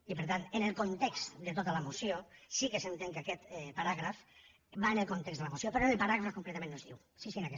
i per tant en el context de tota la moció sí que s’entén que aquest paràgraf va en el context de la moció però en el paràgraf concretament no es diu